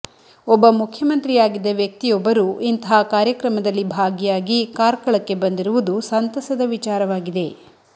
ಒಬ್ಬ ಮುಖ್ಯಮಂತ್ರಿಯಾಗಿದ್ದ ವ್ಯಕ್ತಿಯೊಬ್ಬರು ಇಂತಹ ಕಾರ್ಯಕ್ರಮದಲ್ಲಿ ಭಾಗಿಯಾಗಿ ಕಾರ್ಕಳಕ್ಕೆ ಬಂದಿರುವುದು ಸಂತಸದ ವಿಚಾರವಾಗಿದೆ